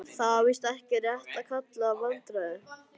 Það er víst ekki rétt að kalla það vandræði.